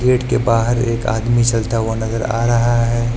Gate के बाहर एक आदमी चलता हुआ नजर आ रहा है।